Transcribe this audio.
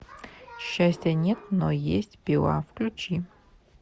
счастья нет но есть пила включи